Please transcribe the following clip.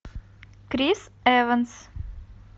крис эванс